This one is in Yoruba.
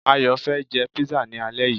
Ayò fé jé pizza ni alé yii